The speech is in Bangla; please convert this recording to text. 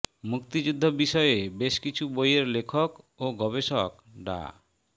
মুক্তিযুদ্ধ বিষয়ে বেশ কিছু বইয়ের লেখক ও গবেষক ডা